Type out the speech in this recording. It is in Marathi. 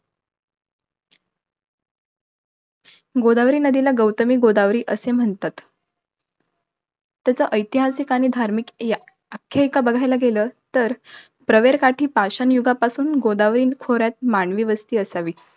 गोदावरी नदीला, गौतमी गोदावरी असे म्हणतात. त्याचा ऐतिहासिक आणि धार्मिक, या आख्यायिका बघायला गेलं तर, प्रवरकाठी पाषाण युगापासून गोदावरी खोऱ्यात मानवी वस्ती असावी.